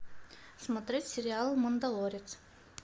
смотреть сериал мандалорец